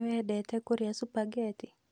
Nĩ wendete kũrĩa supageti?